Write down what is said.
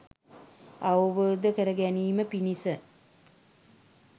අවබෝධ කරගැනීම පිණිස